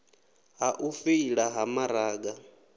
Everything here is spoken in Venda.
ha u feila ha maraga